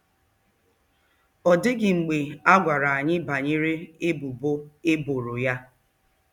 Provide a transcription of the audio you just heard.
Ọ dịghị mgbe a gwara anyị banyere ebubo e boro ya.